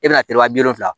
E bɛna teriman bi wolonwula